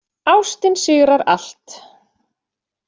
Ástin sigrar allt.